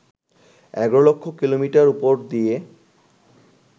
১১ lakh kilometre উপর দিয়ে